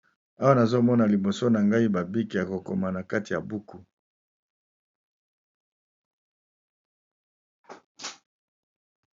Awa nazomona liboso na ngai, ezali bongo ba bic ébélé oyo batu basalelaka pona kokoma